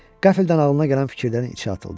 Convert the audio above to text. Qəflətən ağlına gələn fikirlərin içinə atıldı.